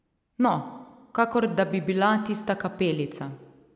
No, kakor da bi bila tista kapelica.